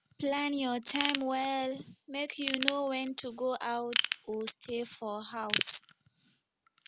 plan your time well make you know wen to go out or stay for house